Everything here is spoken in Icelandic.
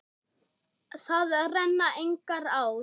Þar renna engar ár.